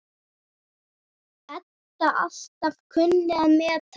Edda alltaf kunnað að meta.